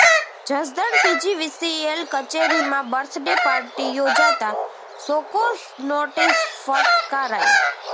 Jasdan PGVCL કચેરીમાં birthday party યોજાતા show cause notice ફટકારાઈ